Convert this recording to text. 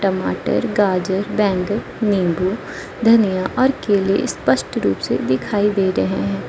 टमाटर गाजर बैंगन नींबू धनिया और केले स्पष्ट रूप से दिखाई दे रहे हैं।